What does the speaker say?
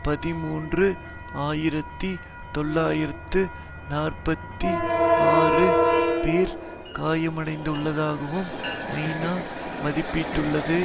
பதிமூன்று ஆயிரத்தி தொள்ளாயிரத்து நாற்பத்தி ஆறு பேர் காயமடைந்துள்ளதாகவும் ஐநா மதிப்பிட்டுள்ளது